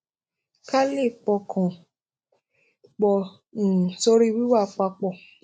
ká lè pọkàn pò um sórí wíwà pa pò